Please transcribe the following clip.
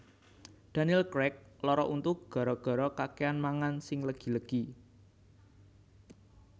Daniel Craig lara untu gara gara kakean mangan sing legi legi